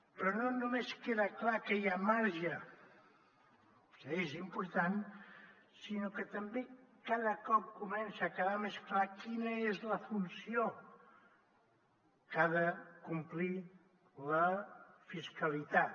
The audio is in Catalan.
però no només queda clar que hi ha marge que és important sinó que també cada cop comença a quedar més clara quina és la funció que ha de complir la fiscalitat